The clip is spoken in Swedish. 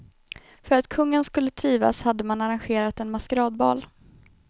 För att kungen skulle trivas hade man arrangerat en maskeradbal.